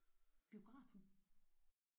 Biografen?